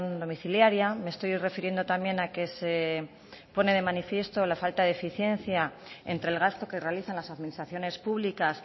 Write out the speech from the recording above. domiciliaria me estoy refiriendo también a que se pone de manifiesto la falta de eficiencia entre el gasto que realizan las administraciones públicas